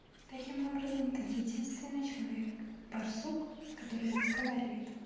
таким образом ты единственный человек барсук который разговаривает